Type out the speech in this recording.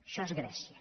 això és grècia